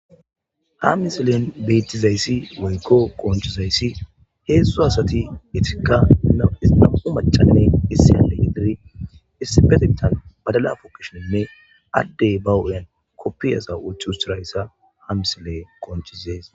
Ha misilen beettizayssi woykko qonchizayssi heezu asati itikka nam7u macane issi ale idiri issipetitan badala fukishenne addey ba hud7yan koppiyasa uchu ustirayssa ha misile qonchizees.